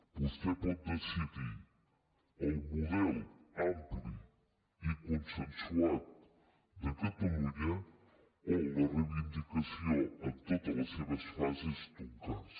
vostè pot decidir el model ampli i consensuat de catalunya o la reivindicació en totes les seves fases d’un cas